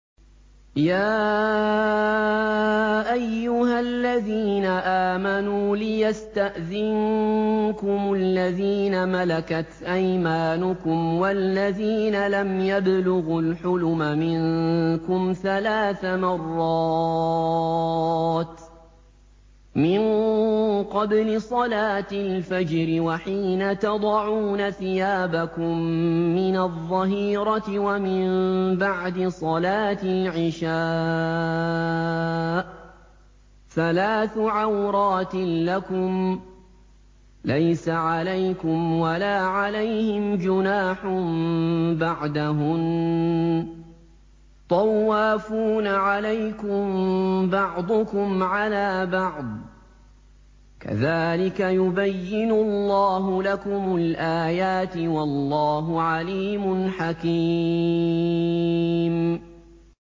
يَا أَيُّهَا الَّذِينَ آمَنُوا لِيَسْتَأْذِنكُمُ الَّذِينَ مَلَكَتْ أَيْمَانُكُمْ وَالَّذِينَ لَمْ يَبْلُغُوا الْحُلُمَ مِنكُمْ ثَلَاثَ مَرَّاتٍ ۚ مِّن قَبْلِ صَلَاةِ الْفَجْرِ وَحِينَ تَضَعُونَ ثِيَابَكُم مِّنَ الظَّهِيرَةِ وَمِن بَعْدِ صَلَاةِ الْعِشَاءِ ۚ ثَلَاثُ عَوْرَاتٍ لَّكُمْ ۚ لَيْسَ عَلَيْكُمْ وَلَا عَلَيْهِمْ جُنَاحٌ بَعْدَهُنَّ ۚ طَوَّافُونَ عَلَيْكُم بَعْضُكُمْ عَلَىٰ بَعْضٍ ۚ كَذَٰلِكَ يُبَيِّنُ اللَّهُ لَكُمُ الْآيَاتِ ۗ وَاللَّهُ عَلِيمٌ حَكِيمٌ